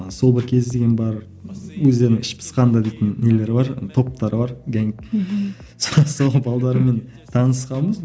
сол бір кез деген бар өздерінің іш пысқанда дейтін нелері бар топтары бар сол сол танысқанбыз